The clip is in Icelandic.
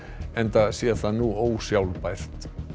enda sé það nú ósjálfbært